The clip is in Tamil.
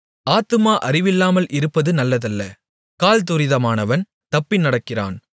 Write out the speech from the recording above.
ஆத்துமா அறிவில்லாமல் இருப்பது நல்லதல்ல கால் துரிதமானவன் தப்பி நடக்கிறான்